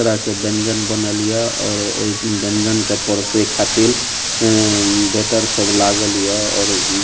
तरह के व्यंजन बनल या और ओय व्यंजन के परसे खातिर अअ वेटर सब लागल या और --